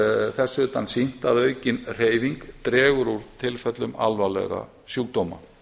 þess utan sýnt að aukin hreyfing dregur úr tilfellum alvarlegra sjúkdóma